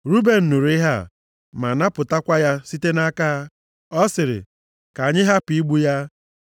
Ruben nụrụ ihe a, ma napụtakwa ya site nʼaka ha. Ọ sịrị, “Ka anyị hapụ igbu ya.”